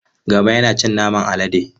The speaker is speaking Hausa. Gama yana cin naman alade.